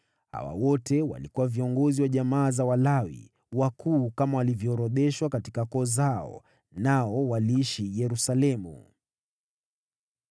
Hawa wote walikuwa viongozi wa jamaa za Walawi, wakuu kama walivyoorodheshwa katika koo zao, nao waliishi Yerusalemu.